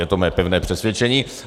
Je to mé pevné přesvědčení.